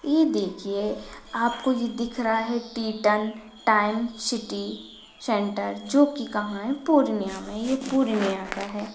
ये देखिये आपको यह दिख रहा है टीटण टाइम सिटी सेंटर जो की कहाँ है पूर्णियां में ये पूर्णियां का है।